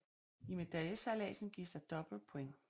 I medaljesejladsen gives der dobbelt points